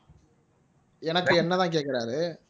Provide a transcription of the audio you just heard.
எனக்கு என்னைதான் கேக்குறாரு